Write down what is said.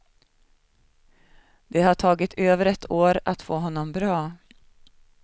Det har tagit över ett år att få honom bra.